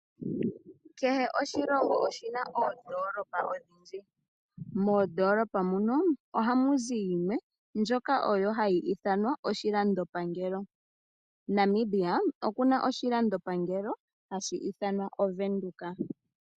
Kehe oshilongo oshina oondolopa odhindji. Moondolopa mono ohamu zi yimwe ndjoka oyo hayi ithanwa oshilandopangelo. Namibia okuna oshilandopangelo hashi ithanwa Ovenduka.